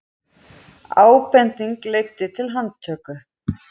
Ábending leiddi til handtöku